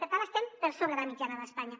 per tant estem per sobre de la mitjana d’espanya